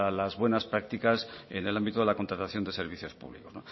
las buenas prácticas en el ámbito de la contratación de servicios públicos